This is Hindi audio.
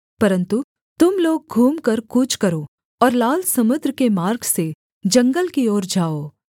परन्तु तुम लोग घूमकर कूच करो और लाल समुद्र के मार्ग से जंगल की ओर जाओ